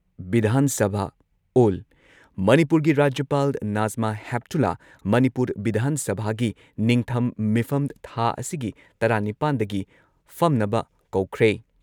ꯚꯤꯙꯥꯟ ꯁꯚꯥ ꯑꯣꯜ ꯃꯅꯤꯄꯨꯔꯒꯤ ꯔꯥꯖ꯭ꯌꯄꯥꯜ ꯅꯥꯖꯃꯥ ꯍꯦꯞꯇꯨꯂꯥ ꯃꯅꯤꯄꯨꯔ ꯚꯤꯙꯥꯟ ꯁꯚꯥꯒꯤ ꯅꯤꯡꯊꯝ ꯃꯤꯐꯝ ꯊꯥ ꯑꯁꯤꯒꯤ ꯇꯔꯥꯅꯤꯄꯥꯟꯗꯒꯤ ꯐꯝꯅꯕ ꯀꯧꯈ꯭ꯔꯦ ꯫